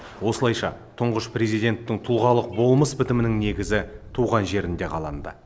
осылайша тұңғыш президенттің тұлғалық болмыс бітімінің негізі туған жерінде қаланды